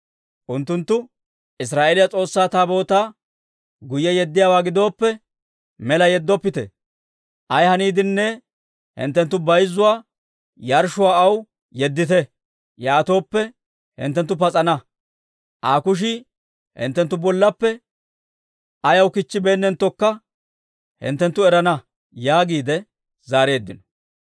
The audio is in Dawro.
Unttunttu, «Israa'eeliyaa S'oossaa Taabootaa guyye yeddiyaawaa gidooppe, mela yeddoppite; ay haniidenne hinttenttu bayzzuwaa yarshshuwaa aw yeddite; yaatooppe, hinttenttu pas'ana; Aa kushii hinttenttu bollappe ayaw kichchibeennenttokka hinttenttu erana» yaagiide zaareeddino.